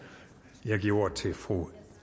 og jeg giver ordet til fru